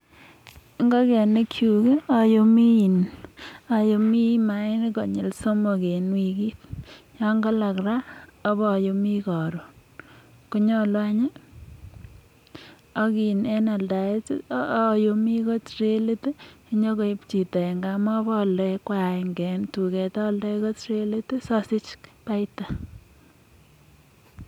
Ingokenik kyuk ki oyumii in oyumii mainik konyil somok en wikit yon kolok raa oboyumii korun, konyolu anyi ak in en aldaet tii oyumii ko trelit tii sinyokoib chito en gaa mobo oldoi kwagenge en tukuk oldoi ko trelit sosich baita.